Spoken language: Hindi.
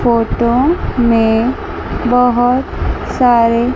फोटो में बहुत सारे--